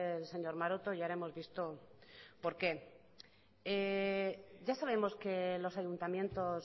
el señor maroto y ahora hemos visto el porqué ya sabemos que los ayuntamientos